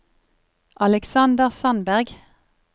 Aleksander Sandberg